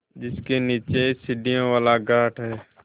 जिसके नीचे सीढ़ियों वाला घाट है